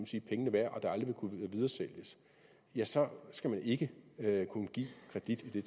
sige pengene værd og det aldrig vil kunne videresælges ja så skal man ikke kunne give kredit i